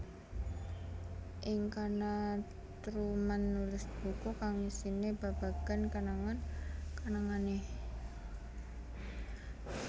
Ing kana Truman nulis buku kang isine babagan kenangan kenangane